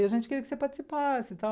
E a gente queria que você participasse e tal.